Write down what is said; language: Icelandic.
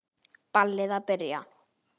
Ballið að byrja.